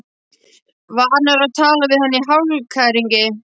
Vanur að tala við hana í hálfkæringi.